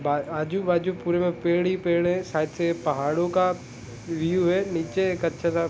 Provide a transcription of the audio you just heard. बा आजु बाजु पुरे पेड़ ही पेड़ है है साइड से पहाड़ो का व्यू है नीचे एक सा --